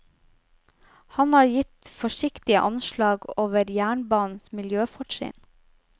Han har gitt forsiktige anslag over jernbanens miljøfortrinn.